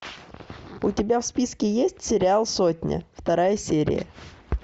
у тебя в списке есть сериал сотня вторая серия